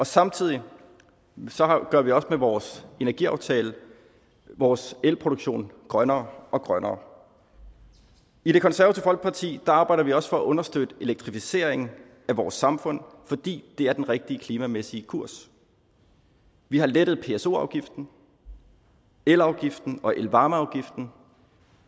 samtidig gør vi også med vores energiaftale vores elproduktion grønnere og grønnere i det konservative folkeparti arbejder vi også for at understøtte elektrificeringen af vores samfund fordi det er den rigtige klimamæssige kurs vi har lettet pso afgiften elafgiften og elvarmeafgiften